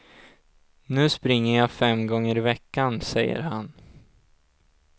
Nu springer jag fem gånger i veckan, säger han.